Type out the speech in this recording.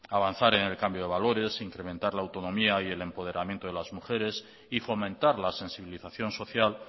avanzar en el cambio de valores incrementar la autonomía yel empoderamiento de las mujeres y fomentar la sensibilización social